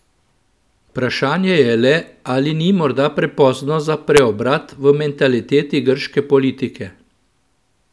Vprašanje je le, ali ni morda prepozno za preobrat v mentaliteti grške politike?